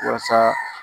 Waasa